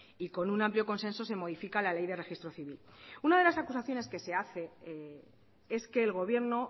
y con un amplio consenso se modifica la ley de registro civil una de las acusaciones que se hace es que el gobierno